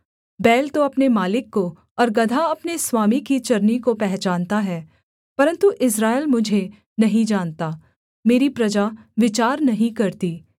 बैल तो अपने मालिक को और गदहा अपने स्वामी की चरनी को पहचानता है परन्तु इस्राएल मुझे नहीं जानता मेरी प्रजा विचार नहीं करती